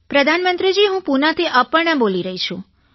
પ્રધાનમંત્રીજી હું પૂનાથી અપર્ણા બોલી રહી છું